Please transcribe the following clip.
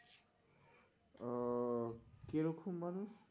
ও কি রকম মানুষ?